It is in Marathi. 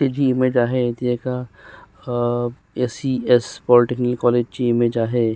ही जी इमेज आहे ती एका अ एस.ई.एस. पॉलीटेक्निक कॉलेज ची इमेज आहे.